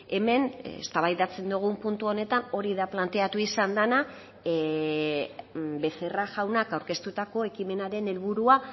hemen eztabaidatzen dugun puntu honetan hori da planteatu izan dena becerra jaunak aurkeztutako ekimenaren helburua